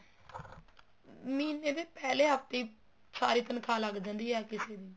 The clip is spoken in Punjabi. ਮਹੀਨੇ ਦੇ ਪਹਿਲੇ ਹਫਤੇ ਹੀ ਸਾਰੀ ਤਨਖਾਹ ਲੱਗ ਜਾਂਦੀ ਆ ਹਰ ਕਿਸੇ ਦੀ